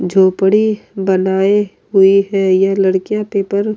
झोपड़ी बनाए हुए हैं यह लड़कियां पेपर --